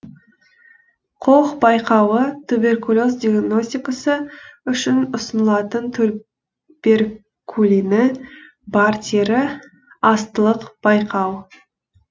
кох байқауы туберкулез диагностикасы үшін ұсынылатын туберкулині бар тері астылық байқау